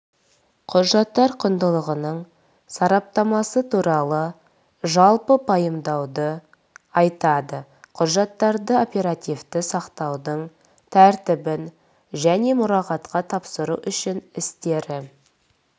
құжаттар құндылығының сараптамасы туралы жалпы пайымдауды айтады құжаттарды оперативті сақтаудың тәртібін және мұрағатқа тапсыру үшін істері